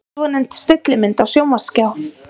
Svonefnd stillimynd á sjónvarpsskjá.